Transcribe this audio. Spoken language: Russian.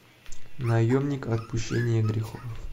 наемник отпущения грехов